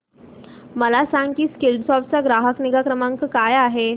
मला सांग की स्कीलसॉफ्ट चा ग्राहक निगा क्रमांक काय आहे